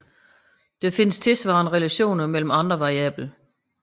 Der findes tilsvarende relationer mellem andre variable